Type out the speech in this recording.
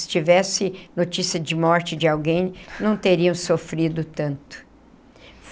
Se tivesse notícia de morte de alguém, não teriam sofrido tanto.